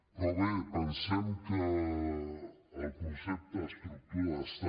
però bé pensem que el concepte estructura d’estat